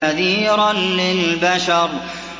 نَذِيرًا لِّلْبَشَرِ